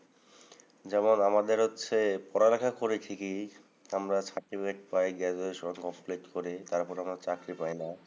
যেমন আমাদের হচ্ছে পড়ালেখা করি ঠিকই। আমরা certificate পাই। graduation complete করি। তারপর আমরা চাকরি পাই না।